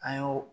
An y'o